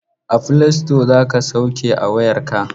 A filasito za ka sauke a wayarka.